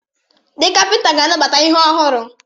Ndị kapịnta ga-anabata ihe ọhụrụ.